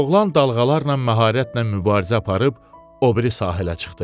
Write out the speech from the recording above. Oğlan dalğalarla məharətlə mübarizə aparıb o biri sahilə çıxdı.